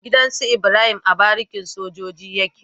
Gidan Ibrahim a barikin sojoji yake